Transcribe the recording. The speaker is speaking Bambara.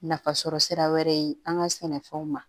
Nafasɔrɔsira wɛrɛ ye an ka sɛnɛfɛnw ma